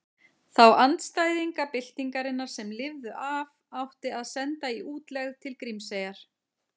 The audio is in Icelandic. Þá andstæðinga byltingarinnar sem lifðu af átti að senda í útlegð til Grímseyjar.